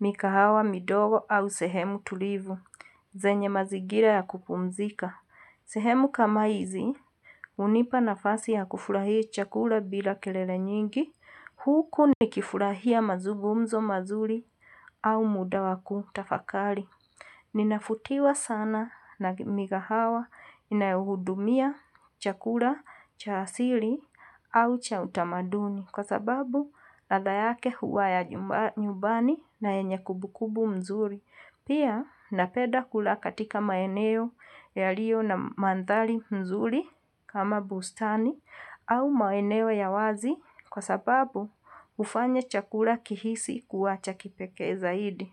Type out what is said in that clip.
mikahawa, midoro au sehemu tulivu. Zenye mazigira ya kupumzika. Sehemu kama hizi, unipa nafasi ya kufurahia chakula bila kelele nyingi. Huku ni kifurahia mazugumzo mazuri au muda wa kutafakali. Ninafutiwa sana na mikahawa inayohudumia chakula cha asili au cha utamaduni. Kwa sababu, ladha yake huwa ya nyubani na yenye kubukubu mzuri. Pia, napeda kula katika maeneo yaliyo na mandhali mzuri kama bustani au maeneo ya wazi kwa sababu ufanya chakula kihisi kuwa cha kipekee zaidi.